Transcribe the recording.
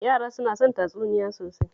Yara suna son tatsuniyoyi sosai